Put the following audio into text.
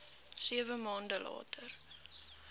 sewe maande later